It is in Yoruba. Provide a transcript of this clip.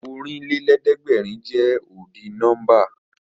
Ọ̀rìnlélẹ̀ẹ̀dẹ́gbèrin jẹ́ ọ́dì nọ́mbà